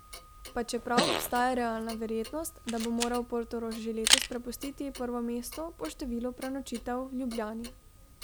Pa čeprav obstaja realna verjetnost, da bo moral Portorož že letos prepustiti prvo mesto po številu prenočitev Ljubljani.